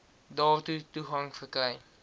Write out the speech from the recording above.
daartoe toegang verkry